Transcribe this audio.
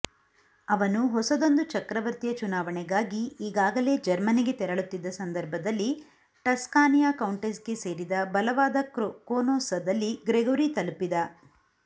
ಅವನು ಹೊಸದೊಂದು ಚಕ್ರವರ್ತಿಯ ಚುನಾವಣೆಗಾಗಿ ಈಗಾಗಲೇ ಜರ್ಮನಿಗೆ ತೆರಳುತ್ತಿದ್ದ ಸಂದರ್ಭದಲ್ಲಿ ಟಸ್ಕಾನಿಯ ಕೌಂಟೆಸ್ಗೆ ಸೇರಿದ ಬಲವಾದ ಕೋನೋಸ್ಸದಲ್ಲಿ ಗ್ರೆಗೊರಿ ತಲುಪಿದ